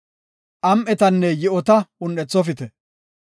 Am7etanne yi7ota un7ethofite.